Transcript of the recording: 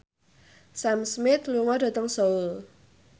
Sam Smith lunga dhateng Seoul